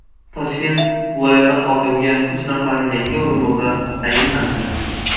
Toshkent viloyati hokimiga uch nafar yangi o‘rinbosar tayinlandi.